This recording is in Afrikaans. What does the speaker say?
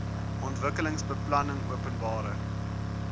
ontwikkelingsbeplanningopenbare